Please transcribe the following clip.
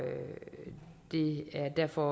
derfor